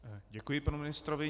Děkuji panu ministrovi.